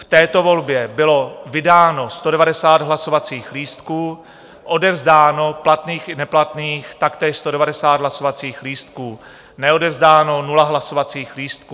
V této volbě bylo vydáno 190 hlasovacích lístků, odevzdáno platných i neplatných taktéž 190 hlasovacích lístků, neodevzdáno 0 hlasovacích lístků.